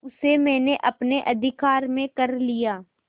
उसे मैंने अपने अधिकार में कर लिया